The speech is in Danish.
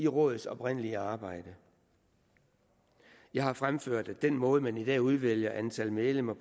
rådets oprindelige arbejde jeg har fremført at den måde hvorpå man i dag udvælger antal medlemmer